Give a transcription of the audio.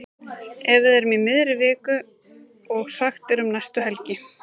Ef við erum í miðri viku og sagt er um næstu helgi.